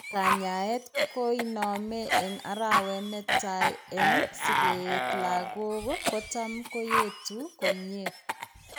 Kanyaeet koinome eng' arawet netaa eng' sikeet lagok kotam koyeetu komyee